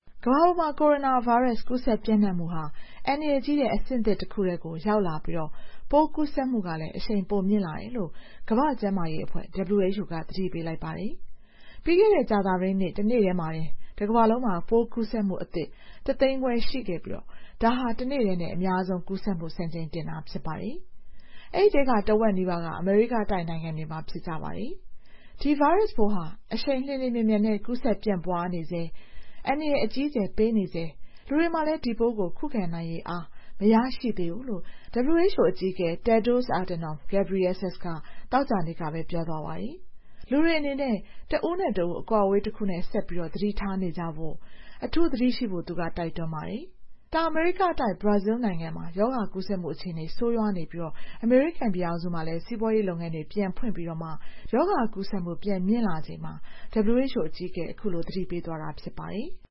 ကမ္ဘာပေါ်မှာ ကိုရိုနာဗိုင်းရပ်စ် ကူးစက်ပျံ့နှံ့မှုဟာ အန္တရာယ်ကြီးတဲ့ အဆင့်သစ်တခုထဲကို ရောက်လာပြီး ပိုးကူးစက်မှုကလည်း အရှိန်ပိုမြင့်လာတယ်လို့ ကမ္ဘာ့ကျန်းမာရေးအဖွဲ့ (WHO) က သတိပေးလိုက်ပါတယ်။ ပြီးခဲ့တဲ့ ကြာသပတေးနေ့ တနေ့တည်းမှာတင် တကမ္ဘာလုံးမှာ ပိုးကူးစက်မှုအသစ် တသိန်းခွဲရှိခဲ့ပြီး ဒါဟာ တနေ့တည်း အများဆုံးကူးစက်မှု စံချိန်တင်တာ ဖြစ်ပါတယ်။ အဲဒီထဲက ထက်ဝက်နီးပါးက အမေရိကတိုက် နိုင်ငံတွေမှာ ဖြစ်ကြပါတယ်။ ဒီဗိုင်းရပ်စ်ပိုးဟာ အရှိန်လျှင်လျှင်မြန်မြန်နဲ့ ကူးစက်ပြန့်ပွားနေဆဲ၊ အန္တရာယ် အကြီးအကျယ်ပေးနေဆဲ၊ လူတွေမှာလည်း ဒီပိုးကို ခုခံနိုင်ရည်အား မရရှိသေးဘူးလို့ WHO အကြီးအကဲ Tedros Adhanom Ghebreyesus က သောကြာနေ့ကပဲ ပြောသွားပါတယ်။ လူတွေအနေနဲ့ တဦးနဲ့တဦး အကွာအဝေးတခုနဲ့ ဆက်ပြီး သတိထားနေကြဖို့၊ သတိအထူးရှိဖို့ သူက တိုက်တွန်းပါတယ်။ တောင်အမေရိကတိုက် ဘရာဇီးနိုင်ငံမှာ ရောဂါကူးစက်မှု အခြေအနေ ဆိုးရွားနေပြီး အမေရိကန်ပြည်ထောင်စုမှာလည်း စီးပွားရေးလုပ်ငန်းတွေ ပြန်ဖွင့်ပြီးမှ ရောဂါကူးစက်မှု ပြန်မြင့်လာချိန်မှာ WHO အကြီးအကဲက အခုလို သတိပေးသွားတာ ဖြစ်ပါတယ်။